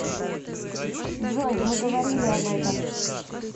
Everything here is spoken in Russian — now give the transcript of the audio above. джой мы говорили об этом